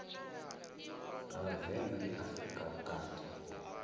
ha vhavenḓa ndi afrika vhukati